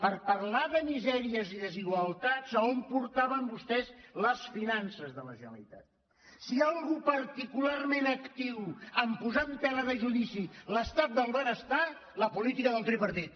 per parlar de misèries i desigual·tats a on portaven vostès les finances de la generali·tat si hi ha algú particularment actiu a posar en tela de judici l’estat del benestar la política del tripartit